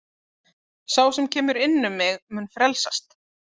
Sá sem kemur inn um mig, mun frelsast.